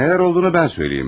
Nələr olduğunu mən söyləyim.